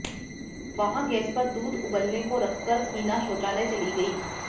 वहां गैस पर दूध उबलने को रखकर हिना शौचालय चली गईं